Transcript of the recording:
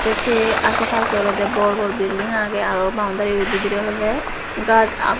tay sey asey pasey olodey bor bor bilding agey aro boundary bo bidirey olode gaj agon.